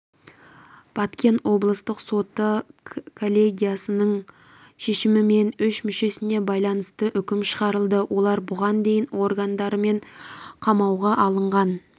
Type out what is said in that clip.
баткен облыстық соты коллегиясының шешімімен үш мүшесіне байланысты үкім шығарылды олар бұған дейін органдарымен қамауға алынған